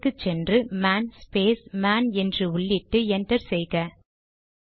டெர்மினலுக்கு சென்று man space man என்று உள்ளிட்டு என்டர் செய்க